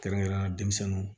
Kɛrɛnkɛrɛnnenya denmisɛnninw